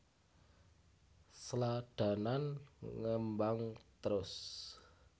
Sladanan ngembang trus